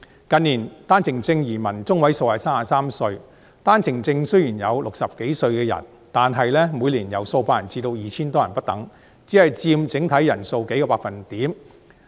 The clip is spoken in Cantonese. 近年，單程證移民年齡中位數是33歲，單程證移民雖然也有60多歲的人士，但每年由數百人至 2,000 多人不等，只佔整體人數數個百分點。